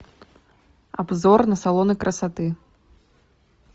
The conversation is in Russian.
обзор на салоны красоты